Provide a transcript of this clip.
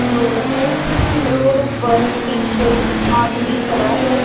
Road ਹੈ road ਉਪਰ ਇੱਕ ਆਦਮੀ ਖੜਾ ਹੈ।